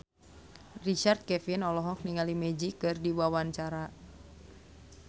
Richard Kevin olohok ningali Magic keur diwawancara